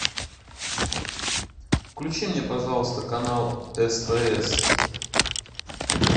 включи мне пожалуйста канал стс